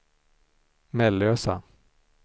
Mellösa